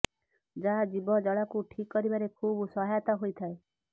ଯାହା ଜିଭ ଜଳାକୁ ଠିକ୍ କରିବାରେ ଖୁବ୍ ସହାୟତା ହୋଇଥାଏ